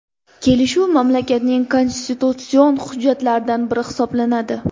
Kelishuv mamlakatning konstitutsion hujjatlaridan biri hisoblanadi.